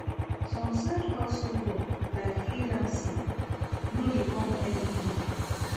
Some side hustle work like freelancing no de come every day